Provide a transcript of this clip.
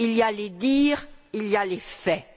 Il y a les dires et il y a les faits.